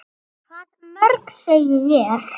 Hvað mörg, segi ég.